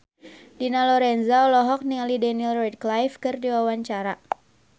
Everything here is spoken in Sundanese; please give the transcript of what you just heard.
Dina Lorenza olohok ningali Daniel Radcliffe keur diwawancara